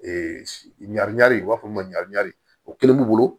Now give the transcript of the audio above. ɲari u b'a fɔ o ma ɲari o kelen b'u bolo